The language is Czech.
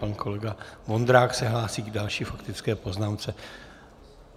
Pan kolega Vondrák se hlásí k další faktické poznámce.